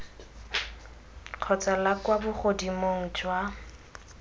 kgotsa la kwa bogodimong jwa